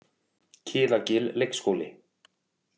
Kiðagil leikskóli